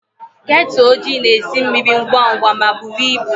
Kettle ojii na-esi mmiri ngwa ngwa ma buru ibu.